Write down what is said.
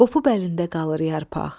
Qopub əlində qalır yarpaq.